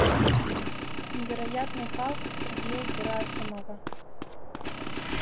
невероятный халк сергея герасимова